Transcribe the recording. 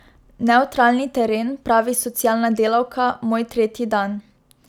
Nevtralni teren, pravi socialna delavka, moj tretji dan.